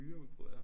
Myreudbrud ja